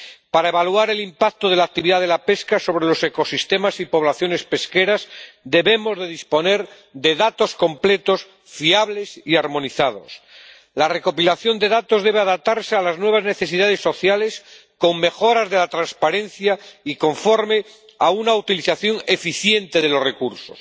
Para evaluar el impacto de la actividad de la pesca sobre los ecosistemas y las poblaciones pesqueras debemos disponer de datos completos, fiables y armonizados. La recopilación de datos debe adaptarse a las nuevas necesidades sociales con mejoras de la transparencia y con una utilización eficiente de los recursos.